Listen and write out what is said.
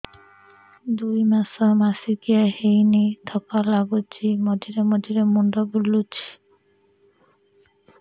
ଦୁଇ ମାସ ମାସିକିଆ ହେଇନି ଥକା ଲାଗୁଚି ମଝିରେ ମଝିରେ ମୁଣ୍ଡ ବୁଲୁଛି